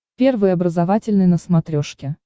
первый образовательный на смотрешке